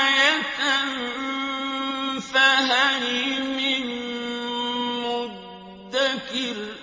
آيَةً فَهَلْ مِن مُّدَّكِرٍ